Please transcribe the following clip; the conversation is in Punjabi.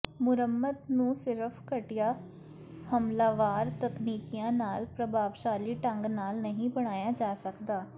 ਮੁਰੰਮਤ ਨੂੰ ਸਿਰਫ਼ ਘਟੀਆ ਹਮਲਾਵਰ ਤਕਨੀਕਾਂ ਨਾਲ ਪ੍ਰਭਾਵਸ਼ਾਲੀ ਢੰਗ ਨਾਲ ਨਹੀਂ ਬਣਾਇਆ ਜਾ ਸਕਦਾ